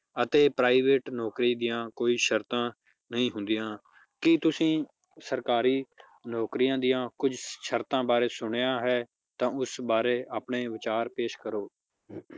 ਅਤੇ private ਨੌਕਰੀ ਦੀਆਂ ਕੋਈ ਸ਼ਰਤਾਂ ਨਹੀਂ ਹੁੰਦੀਆਂ, ਕੀ ਤੁਸੀਂ ਸਰਕਾਰੀ ਨੌਕਰੀਆਂ ਦੀਆਂ ਕੁੱਝ ਸ਼ਰਤਾਂ ਬਾਰੇ ਸੁਣਿਆ ਹੈ ਤਾਂ ਉਸ ਬਾਰੇ ਆਪਣੇ ਵਿਚਾਰ ਪੇਸ਼ ਕਰੋ